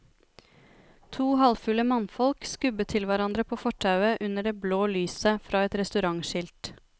To halvfulle mannfolk skubbet til hverandre på fortauet under det blå lyset fra et restaurantskilt.